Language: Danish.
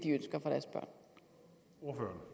at